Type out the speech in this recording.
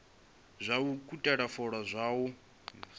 zwa u ukhuthela fola zwo